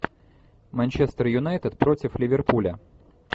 манчестер юнайтед против ливерпуля